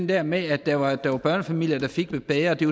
der med at der var der var børnefamilier der fik det bedre og det